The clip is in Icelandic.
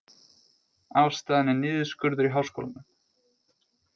Ástæðan er niðurskurður í háskólanum